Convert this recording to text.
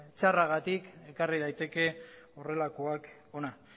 txarragatik ekarri daiteke horrelakoak hona